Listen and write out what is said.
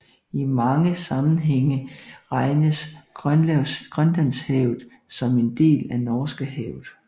I mange sammenhænge regnes Grønlandshavet som en del af Norskehavet